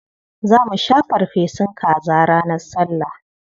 Za mu sha farfesun kaza ranar Sallah.